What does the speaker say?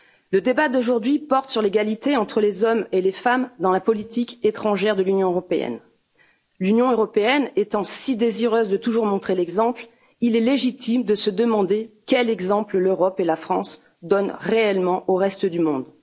Le débat d'aujourd'hui porte sur l'égalité entre les hommes et les femmes dans la politique étrangère de l'Union européenne. L'Union européenne étant si désireuse de toujours montrer l'exemple, il est légitime de se demander quel exemple l'Europe et la France donnent réellement au reste du monde.